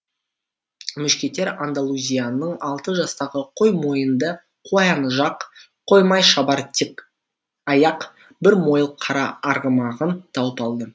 мушкетер андалузияның алты жастағы қой мойынды қоян жақ қоймай шабар тік аяқ бір мойыл қара арғымағын тауып алды